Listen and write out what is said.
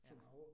Ja